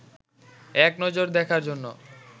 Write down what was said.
এক নজর দেখার জন্য